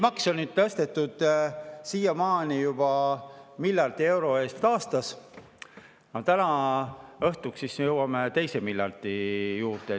Makse on siiamaani tõstetud juba miljardi euro võrra aastas, täna õhtuks jõuame teise miljardini.